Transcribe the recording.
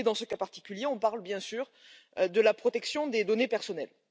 Dans ce cas particulier, on parle bien sûr de la protection des données personnelles.